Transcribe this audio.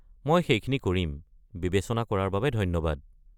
মই সেইখিনি কৰিম, বিবেচনা কৰাৰ বাবে ধন্যবাদ।